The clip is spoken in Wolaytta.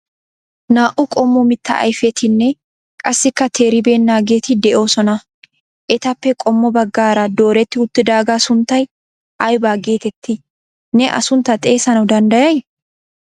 naa''u qommo mitta ayfetinne qassika teeribennageeti de'oosona. etappe qommo baggaara dooretti uttidaaga sunttay aybba getetti ne a suntta xeessanaw danddayay?